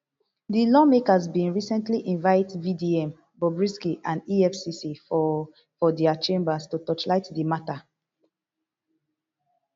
di lawmakers bin recently invite vdm bobrisky and efcc for for dia chambers to torchlight di mata